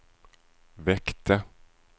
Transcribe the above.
väckte